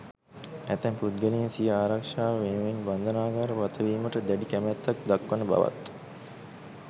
ඇතැම් පුද්ගලයින් සිය ආරක්ෂාව වෙනුවෙන් බන්ධනාගාර ගතවීමට දැඩි කැමැත්තක් දක්වන බවත්